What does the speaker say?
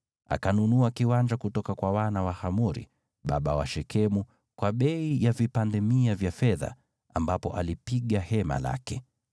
Akanunua kiwanja kutoka kwa wana wa Hamori, baba wa Shekemu, kwa bei ya vipande mia vya fedha, ambapo alipiga hema lake.